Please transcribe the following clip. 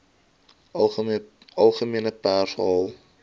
algemene pers haal